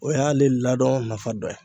O y'ale ladon nafa dɔ ye.